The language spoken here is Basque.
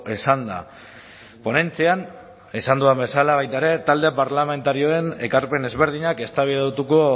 esanda ponentzian esan dudan bezala baita ere talde parlamentarioen ekarpen ezberdinak eztabaidatuko